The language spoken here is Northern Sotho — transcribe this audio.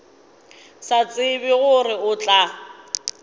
sa tsebe gore o tla